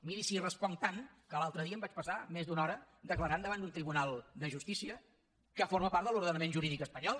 miri si hi responc tant que l’altre dia em vaig passar més d’una hora declarant davant d’un tribunal de justícia que forma part de l’ordenament jurídic espanyol